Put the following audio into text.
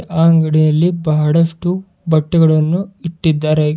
ಆ ಅಂಗಡಿಯಲ್ಲಿ ಬಹಳಷ್ಟು ಬಟ್ಟೆಗಳನ್ನು ಇಟ್ಟಿದ್ದಾರೆ.